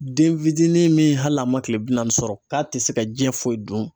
Den fidini min hali n'a man kile bi naani sɔrɔ k'a tɛ se ka jiyɛn foyi dun